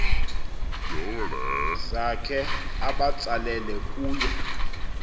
zakhe abatsalele kuye